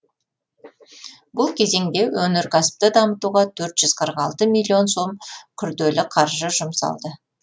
бұл кезеңде өнеркәсіпті дамытуға төрт жүз қырық алты миллион сом күрделі қаржы жұмсалды